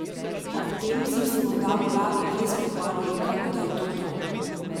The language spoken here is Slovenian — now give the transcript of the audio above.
Ob tem sem si morda v glavi res prekmalu rekel, da je to to.